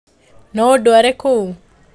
No ũndware kuo?